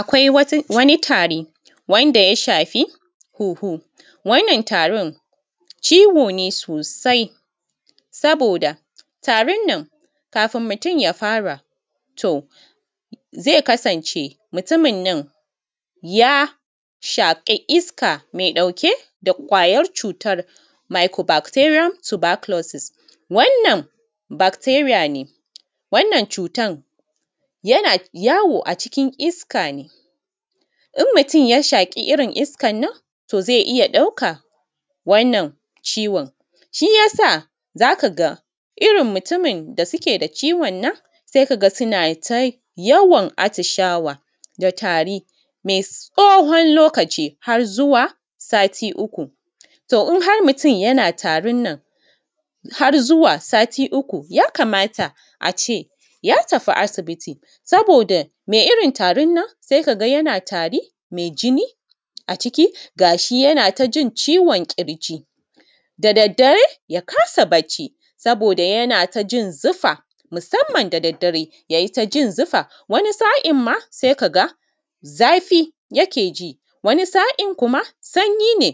Akwai waniˋ tarıˋ wandaˋ ya shafiˋ hunhuˋ, wannan tarin ciwoˋ ne sosai sabodaˋ tarin nan kafin mutum ya faraˋ zai kasanceˋ mutumin nan ya shaƙiˋ iskaˋ mai daukeˋ da kwayar cutan maiƙo bakteriyam tabakulosis, wannan bakteriyaˋ ne wannan cutan yanaˋ yawoˋ a cikin iska ne, in mutum ya shakiˋ irin iskan nan to ze iya daukan wannan ciwon. Shiyasaˋ zakaˋ ga irin mutumin da sukeˋ da ciwon nan sai kagaˋ sunaˋ ta yawan atishawaˋ da tariˋ, mai tsohon lokaciˋ har zuwaˋ satiˋ uku. To in har mutum yanaˋ tarin nan har zuwaˋ satiˋ uku ya kamataˋ ace ya tafiˋ asibitiˋ sabodaˋ mai irin tarin nan sai kagaˋ yanaˋ tariˋ mai jiniˋ a cikiˋ, gashi yanaˋ da yawan jin ciwon kirjiˋ, da dareˋ ya kasaˋ barciˋ sabodaˋ yanaˋ ta jin zufaˋ, musamman da dareˋ ya yi ta jin zufaˋ, waniˋ sa’inmaˋ sai kagaˋ zafiˋ yikeˋ jiˋ, waniˋ sa’in kumaˋ sanyiˋ ne,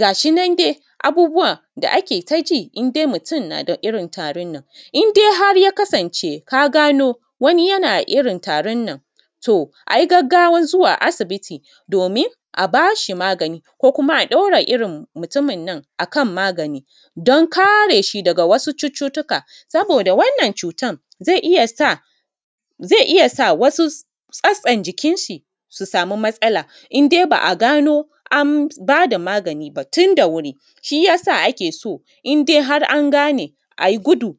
gashi nan sai abubuwaˋ da ake ta jiˋ indai mutum na daˋ irin tarıˋ nan, indai har ya kasanceˋ ka ganoˋ waniˋ yanaˋ irin tarin nan to ayi gagawan zuwaˋ asibitiˋ domin a bashi maganiˋ ko kumaˋ a daura irin mutumin nan akan maganiˋ don kareˋ shi dagaˋ wasuˋ cututukaˋ, sabodaˋ wannan cutan zai iya sa wasuˋ tsatsan jikinshi su samuˋ matsalaˋ indai ba’a ganoˋ an badˋa maganiˋ ba tundaˋ wuriˋ, shiyasaˋ ake so in har an ganeˋ ayi guduˋ.